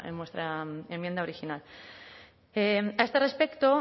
en vuestra enmienda original a este respecto